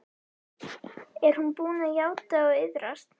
Er hún búin að játa og iðrast?